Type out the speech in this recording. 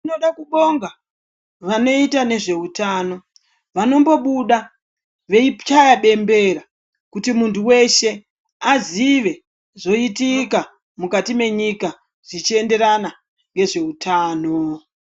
Tinoda kubonga vanoita nezveutano vanombobuda veichaya bembera kuti muntu weshe azive zvoitika mukati mwenyika zvichienderana nezveutano.